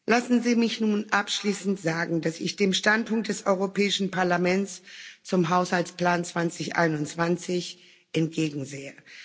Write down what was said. Lassen Sie mich nun abschließend sagen, dass ich dem Standpunkt des Europäischen Parlaments zum Haushaltsplan 2021 entgegensehe.